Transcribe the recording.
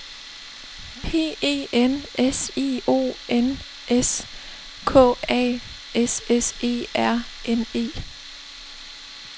P E N S I O N S K A S S E R N E